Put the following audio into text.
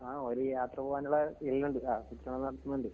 ആഹ് ഒര് യാത്ര പോകാനുള്ള ഒണ്ട്. ആഹ് ചുറ്റണന്നോർക്ക്ന്നുണ്ട്.